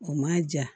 O ma ja